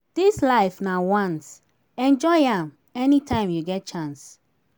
dis life na once enjoy am anytime you get chance